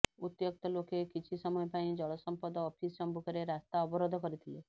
ଉତ୍ତ୍ୟକ୍ତ ଲୋକେ କିଛି ସମୟ ପାଇଁ ଜଳସଂପଦ ଅଫିସ ସମ୍ମୁଖରେ ରାସ୍ତା ଅବରୋଧ କରିଥିଲେ